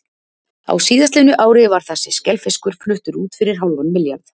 Á síðastliðnu ári var þessi skelfiskur fluttur út fyrir hálfan milljarð.